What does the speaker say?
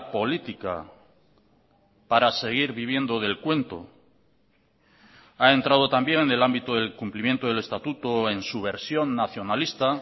política para seguir viviendo del cuento ha entrado también en el ámbito del cumplimiento del estatuto en su versión nacionalista